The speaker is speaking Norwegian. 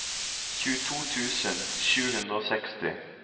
tjueto tusen sju hundre og seksti